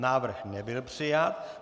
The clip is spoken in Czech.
Návrh nebyl přijat.